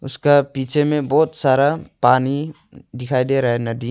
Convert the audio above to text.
उसका पीछे में बहोत सारा पानी दिखाई दे रहा है नदी --